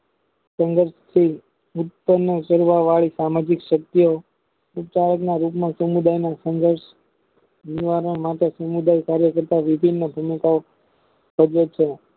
સંગતીથ સામાજિક શક્ય સમુદાયના સંઘર્ષ નિવારણ માટે કાર્ય કરતા વિભિન્ન ભુમિકાઓ ભજવે છે